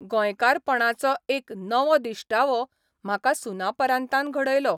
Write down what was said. गोंयकारपणाचो एक नवो दिश्टावो म्हाका सुनापरान्तान घडयलो.